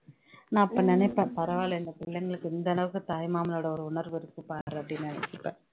நான் அப்போ நினைப்பேன் பரவால்லே இந்த பிள்ளைங்களுக்கு இந்த அளவுக்கு தாய்மாமனோட ஒரு உணர்வு இருக்குபா அப்படின்னு நெனச்சுப்பேன்